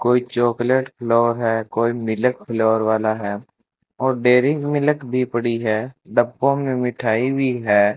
कोई chocolate flavour है कोई मिल्क फ्लेवर वाला है और डेरी मिल्क भी पड़ी है डब्बों में मिठाई भी है।